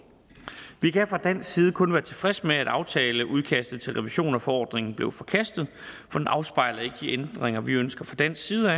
vi kan fra dansk side kun være tilfredse med at aftaleudkastet til revision af forordningen blev forkastet for det afspejler ikke de ændringer vi ønsker fra dansk side